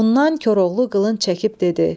Ondan Koroğlu qılınc çəkib dedi: